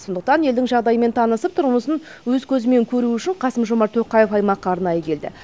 сондықтан елдің жағдайымен танысып тұрмысын өз көзімен көру үшін қасым жомарт тоқаев аймаққа арнайы келді